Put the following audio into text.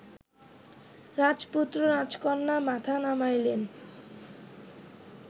রাজপুত্র রাজকন্যা মাথা নামাইলেন